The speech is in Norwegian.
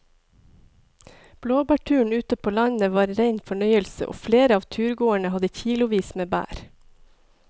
Blåbærturen ute på landet var en rein fornøyelse og flere av turgåerene hadde kilosvis med bær.